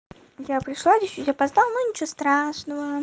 я пришла чуть-чуть опоздала ну ничего страшно